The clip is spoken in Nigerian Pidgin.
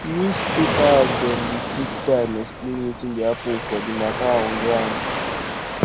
newspaper dem dey take time xplain wetin dey happen for di mata on ground